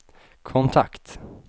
kontakt